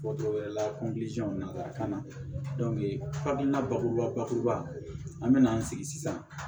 wɛrɛ la na ka na hakilina bakuruba bakuruba an bɛna an sigi sisan